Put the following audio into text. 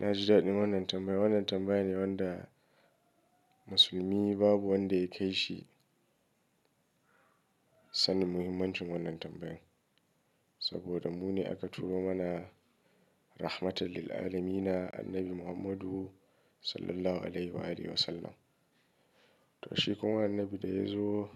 Naji daɗin wannan tambaya, wannan tambaya ne wanda Musulmi babu ya kaishi sanin muhimmancin wannan tambayan. Saboda mu ne aka turo mana rahmatal lil alamina Annabi Muhammadu Sallallahu alaihi wa alihi wasallam. To shi kuma annabi da ya zo